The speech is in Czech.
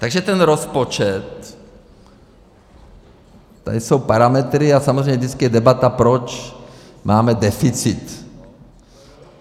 Takže ten rozpočet - tady jsou parametry - a samozřejmě vždycky je debata, proč máme deficit.